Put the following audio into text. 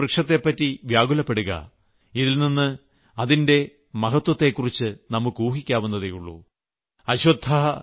യുദ്ധമൈതാനത്ത് വൃക്ഷത്തെപ്പറ്റി വ്യാകുലപ്പെടുക ഇതിൽനിന്ന് നമുക്ക് അതിന്റെ മഹത്വത്തെക്കുറിച്ച് ഊഹിക്കാവുന്നതേയുള്ളൂ